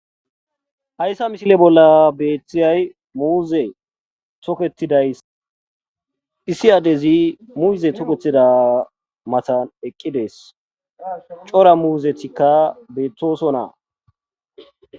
Hayssa misile bolla beetizayssi muuze toketidi issi adday iza lanqen eqqidayssa besses. cora muzetika betosona